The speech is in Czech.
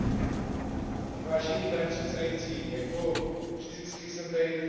Pane předsedající, jako vždycky jsem tady dnes zase poslední.